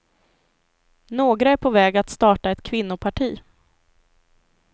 Några är på väg att starta ett kvinnoparti.